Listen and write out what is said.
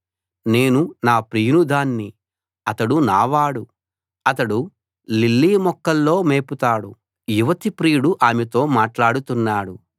నేను నా ప్రియుని దాన్ని అతడు నావాడు అతడు లిల్లీ మొక్కల్లో మేపుతాడు [ఐదవ భాగం] యువతి ప్రియుడు ఆమెతో మాట్లాడుతున్నాడు